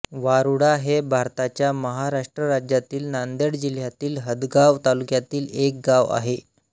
वारूळा हे भारताच्या महाराष्ट्र राज्यातील नांदेड जिल्ह्यातील हदगाव तालुक्यातील एक गाव आहे